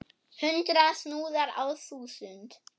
Hundrað snúðar á þúsund!